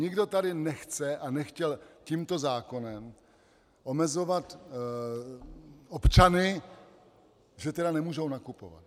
Nikdo tady nechce a nechtěl tímto zákonem omezovat občany, že teda nemůžou nakupovat.